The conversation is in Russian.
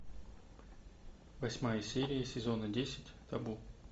восьмая серия сезона десять табу